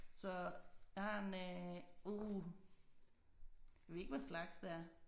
Så jeg har en øh uh jeg ved ikke hvad slags det er